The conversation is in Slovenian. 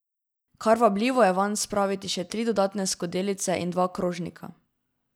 Kar vabljivo je vanj spraviti še tri dodatne skodelice in dva krožnika.